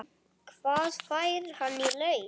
Hvað fær hann í laun?